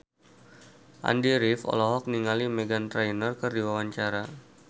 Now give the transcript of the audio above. Andy rif olohok ningali Meghan Trainor keur diwawancara